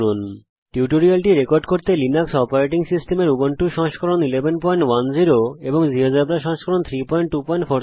এই টিউটোরিয়ালটি রেকর্ড করার জন্যে আমি লিনাক্স অপারেটিং সিস্টেমের উবুন্টু সংস্করণ 1110 জীয়োজেব্রা সংস্করণ 32470 ব্যবহার করছি